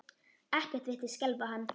Ekkert virtist skelfa hann.